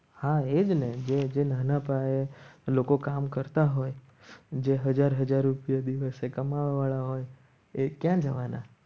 હા એજ ને જે નાના પાયે લોકો કામ કરતા હોય જે હજાર હજાર રૂપિયા દિવસે કમાવવા વાળા હોય એ ક્યાં જવાના